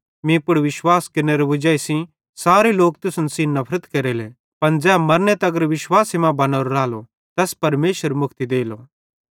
मीं पुड़ विश्वास केरनेरे वजाई सेइं सारे लोक तुसन सेइं नफरत केरले पन ज़ै मरने तगर विश्वासे मां बनोरो रालो तैस परमेशर मुक्ति देलो